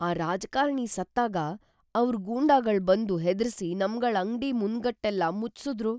ಆ ರಾಜಕಾರ್ಣಿ ಸತ್ತಾಗ ಅವ್ರ್‌ ಗೂಂಡಾಗಳ್‌ ಬಂದು ಹೆದ್ರಿಸಿ ನಮ್ಗಳ್ ಅಂಗ್ಡಿ ಮುಂಗಟ್ನೆಲ್ಲ ಮುಚ್ಸುದ್ರು.